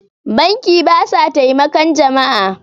banki ba sa taimakan jama'a